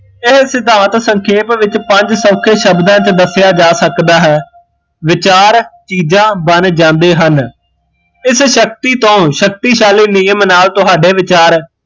ਇਹ ਸਿਧਾਂਤ ਸਖੇਪ ਵਿੱਚ ਪੰਜ ਕੁ ਸ਼ਬਦਾਂ ਚ ਦੱਸਿਆ ਜਾ ਸਕਦਾ ਹੈ, ਵਿਚਾਰ ਚੀਜ਼ਾਂ ਬਣ ਜਾਂਦੇ ਹਨ ਇਸ ਸ਼ਕਤੀ ਤੋਂ ਸ਼ਕਤੀਸ਼ਾਲੀ ਨਿਯਮ ਨਾਲ਼ ਤੁਹਾਡੇ ਵਿਚਾਰ